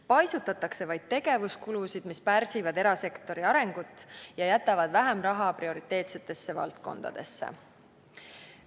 Paisutatakse vaid tegevuskulusid, mis pärsivad erasektori arengut ja jätavad vähem raha prioriteetsetesse valdkondadesse.